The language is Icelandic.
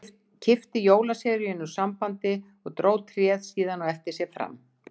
Hún kippti jólaseríunum úr sambandi og dró tréð síðan á eftir sér fram.